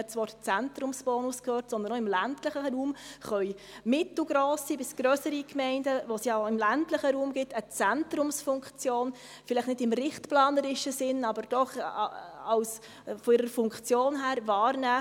Vielmehr können auch im ländlichen Raum mittelgrosse bis grössere Gemeinden, die es ja auch im ländlichen Raum gibt, eine Zentrumsfunktion einnehmen, vielleicht nicht im richtplanerischen Sinn, aber doch von ihrer Funktion her wahrgenommen.